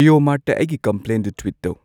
ꯖꯤꯑꯣ ꯃꯥꯔꯠꯇ ꯑꯩꯒꯤ ꯀꯝꯄ꯭ꯂꯦꯟꯗꯨ ꯇ꯭ꯋꯤꯠ ꯇꯧ